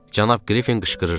Cənab Qriffin qışqırırdı.